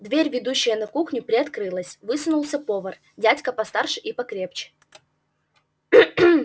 дверь ведущая на кухню приоткрылась высунулся повар дядька постарше и покрепче